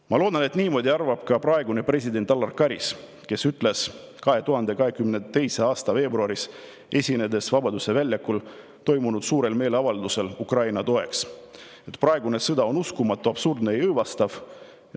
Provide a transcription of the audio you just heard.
Ma loodan, et niimoodi arvab ka praegune president Alar Karis, kes ütles 2022. aasta veebruaris, esinedes Vabaduse väljakul toimunud suurel meeleavaldusel Ukraina toeks, et praegune sõda on uskumatu, absurdne ja õõvastav.